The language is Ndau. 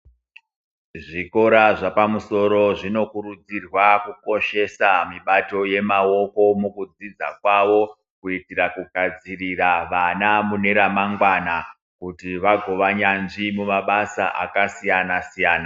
Zvikora zvepamusoro zvinokurudzirwa kukoshesa mibato yemaoko mukudzidza kwavo kuitira kugadzirira vana mune ramangwana kuti vagova nyanzvi mumabasa akasiyana siyana.